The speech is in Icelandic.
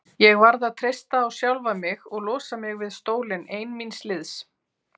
Ég varð að treysta á sjálfa mig og losa mig við stólinn ein míns liðs.